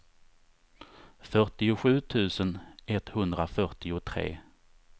fyrtiosju tusen etthundrafyrtiotre